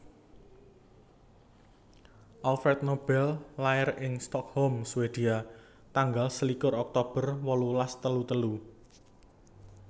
Alfred Nobel lair ing Stockholm Swedia tanggal selikur Oktober wolulas telu telu